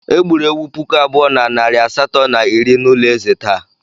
Egburu ewu puku abụọ na narị asatọ na iri n'ụlọ ezé taa.